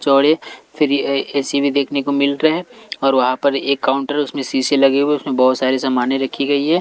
चौड़े फिर ए_सी भी देखने को मिल रहा हैऔर वहाँ पर एक काउंटर उसमें शीशे लगे हुए उसमें बहुत सारे सामानें रखी गई है।